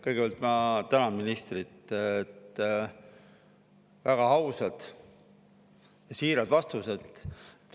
Kõigepealt ma tänan ministrit väga ausate ja siiraste vastuste eest.